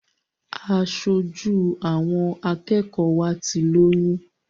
Aṣojú àwọn akẹ́kọ̀ọ́ wa ti lóyún.